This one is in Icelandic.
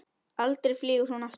Aldrei flýgur hún aftur